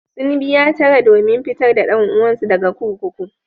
Sun biya tara domin fitar da ɗan uwansu daga kurkuku.